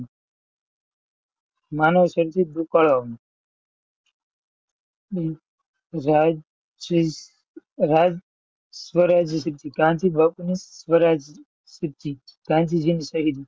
માનવસર્જિત હમ રાજ્ય રાજ ગાંધીજીને કરી દીધી.